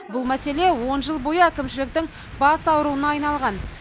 бұл мәселе он жыл бойы әкімшіліктің бас ауруына айналған